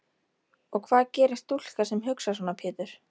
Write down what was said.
Og hvað gerir stúlka sem hugsar svona Pétur?